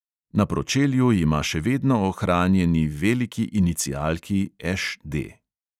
Na pročelju ima še vedno ohranjeni veliki inicialki ŠD.